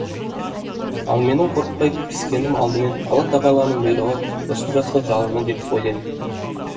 ал менің қорықпай кіріскенім алдымен алла тағаланың бұйрығы сосын жастық жалыны деп ойлаймын